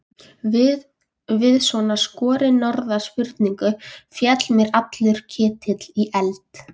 Við svona skorinorða spurningu féll mér allur ketill í eld.